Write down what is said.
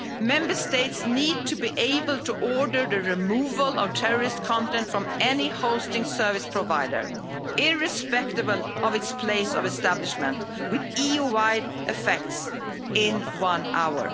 Member States need to be able to order the removal of terrorist content from any hosting service provider, irrespective of its place of establishment, with EU wide effects in one hour.